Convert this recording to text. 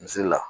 Misi la